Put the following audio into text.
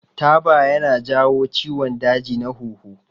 Taba ya na jawo ciwon daji na huhu